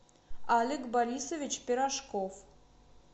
олег борисович пирожков